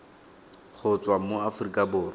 go tswa mo aforika borwa